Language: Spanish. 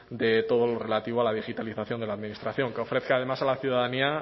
de todo lo relativo a la digitalización de la administración que ofrezca además a la ciudadanía